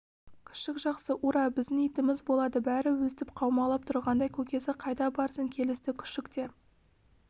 күшік жақсы ура біздің итіміз болады бәрі өстіп қаумалап тұрғанда көкесі қайда барсын келісті күшік те